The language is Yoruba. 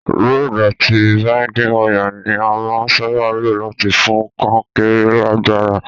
Rod àti binding wire ni a màa n sábà lo láti fún kankéré lágbára